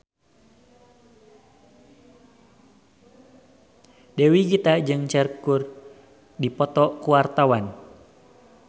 Dewi Gita jeung Cher keur dipoto ku wartawan